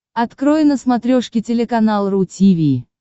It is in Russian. открой на смотрешке телеканал ру ти ви